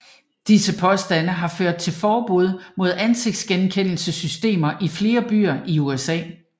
Disse påstande har ført til forbud mod ansigtsgenkendelsessystemer i flere byer i USA